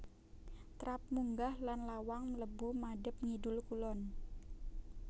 Trap munggah lan lawang mlebu madhep ngidul kulon